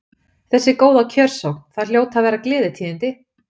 Þessi góða kjörsókn, það hljóta að vera gleðitíðindi?